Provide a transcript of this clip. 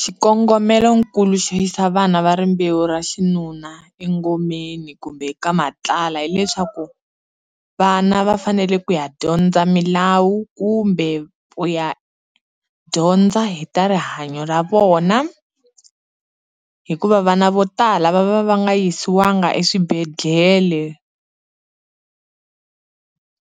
Xikongomelokulu xo yisa vana va rimbewu ra xinuna engomeni kumbe ka matlala hileswaku, vana va fanele ku ya dyondza milawu kumbe ku ya dyondza hi ta rihanyo ra vona. Hikuva vana vo tala va va va nga yisiwanga eswibedhlele,